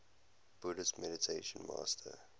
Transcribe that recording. buddhist meditation master